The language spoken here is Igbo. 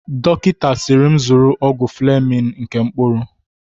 Dọkịta siiri m zụrụ ọgwụ Flemin nke mkpụrụ.